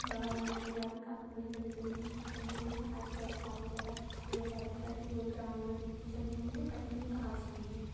बड़ा वाला झूला भी काफी बड़ी बड़ी बिल्डिंग्स भी बनी हुए है। आजू बाजू काफी ज्यादा पेड़ पौधे लगे हुए। ग्राऊंड में मिट्टी जमी हुई है। कहीं कहीं घास जमी है।